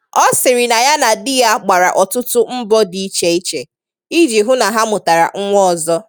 Ọ sịrị na ya na di ya gbara ọtụtụ mbọ dị iche iche iji hụ na ha mụtara nwa ọzọ